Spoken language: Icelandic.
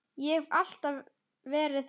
Ég hef alltaf verið það.